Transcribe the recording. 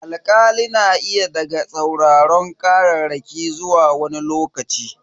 Alkali na iya daga sauraron kararraki zuwa wani lokaci.